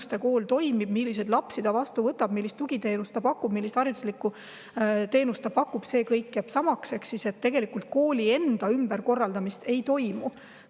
See, milliseid lapsi Ämmuste Kool vastu võtab, millist tugiteenust ta pakub, millist hariduslikku teenust ta pakub, jääb kõik samaks ehk kooli enda ümberkorraldamist ei toimu.